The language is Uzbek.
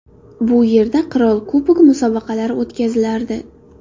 Bu yerda Qirol Kubogi musobaqalari o‘tkazilardi.